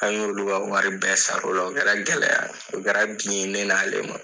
An y'olu ka wari bɛɛ sara o la u kɛra gɛlɛya ye u kɛra bin ye ne n'ale ma.